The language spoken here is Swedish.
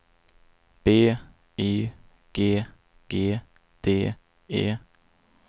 B Y G G D E